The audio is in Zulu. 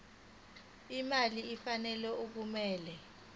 imali efanele okumele